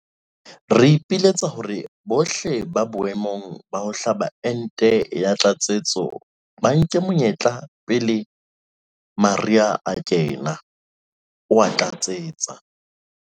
Re ipiletsa hore bohle ba boemong ba ho hlaba ente ya tlatsetso ba nke monyetla pele mariha a kenella," o a tlatseletsa.